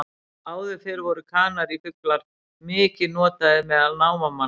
Áður fyrr voru kanarífuglar mikið notaðir meðal námamanna.